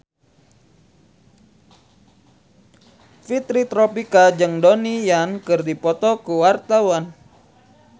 Fitri Tropika jeung Donnie Yan keur dipoto ku wartawan